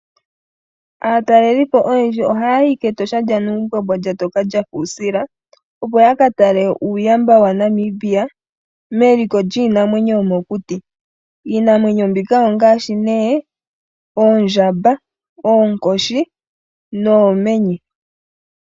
Aatalelipo oyendji ohaayi kEtosha lyaNumbwambwa lya toka lyafa uusila. Opo yaka tale uuyamba waNamibia meliko lyiinamwenyo yomokuti. Iinamwenyo mbika ongaashi nee oondjamba, oonkoshi noomenye.